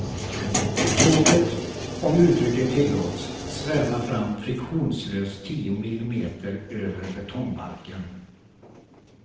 Tåget, om uttrycket tillåts, svävar fram friktionslöst tio millimeter över betongbalken.